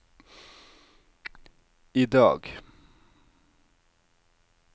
idag